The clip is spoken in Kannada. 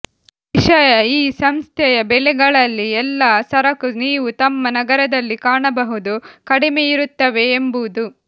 ವಿಷಯ ಈ ಸಂಸ್ಥೆಯ ಬೆಲೆಗಳಲ್ಲಿ ಎಲ್ಲ ಸರಕು ನೀವು ತಮ್ಮ ನಗರದಲ್ಲಿ ಕಾಣಬಹುದು ಕಡಿಮೆಯಿರುತ್ತವೆ ಎಂಬುದು